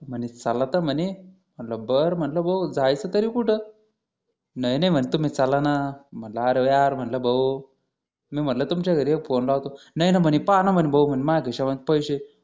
म्हणे चला तर म्हणे बर म्हटलं भाऊ जायचं तरी कुठं मला आडव्या रे भाऊ मी म्हटलं तुमच्या घरी एक फोन लावतो नाही ना म्हणे पहा ना म्हणे भाऊ माझ्या खिशामध्ये पैसे आहे